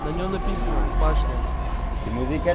на нем написано башня